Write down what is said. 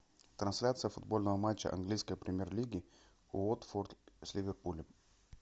трансляция футбольного матча английской премьер лиги уотфорд с ливерпулем